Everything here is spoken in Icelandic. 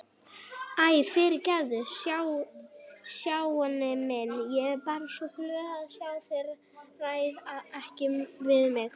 Æ, fyrirgefðu Stjáni minn, ég er bara svo glöð að ég ræð ekki við mig